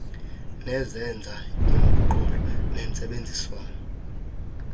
nezenza inguqulo nentsebenziswano